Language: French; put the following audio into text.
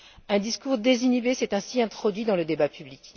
Un discours désinhibé s'est ainsi introduit dans le débat public.